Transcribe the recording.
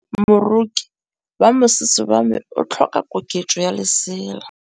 Moroki wa mosese wa me o tlhoka koketsô ya lesela.